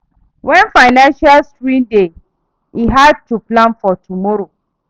Wen financial strain dey, e hard to plan for tomoro.